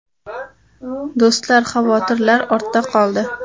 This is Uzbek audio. Do‘stlar, xavotirlar ortda qoldi!